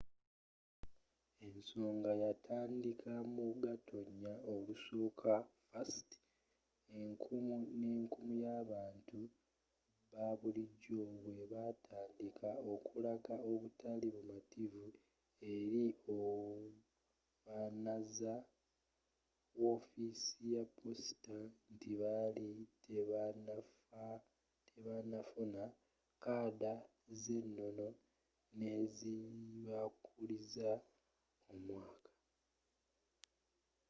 ensonga yatandika mu gatonya olusooka 1st enkumu ne nkumu y'abantu ba bulijjo bwe batandika okulaga obutali bu mativu eri obanazawa wofiisi ya posita nti baali tebanafuna kaada z'enono n'ezibakuliza omwaka